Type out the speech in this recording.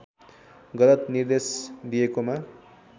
गलत निर्देश दिएकोमा